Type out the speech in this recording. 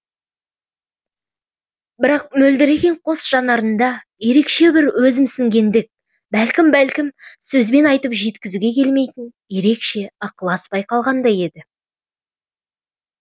бірақ мөлдіреген қос жанарында ерекше бір өзімсінгендік бәлкім бәлкім сөзбен айтып жеткізуге келмейтін ерекше ықылас байқалғандай еді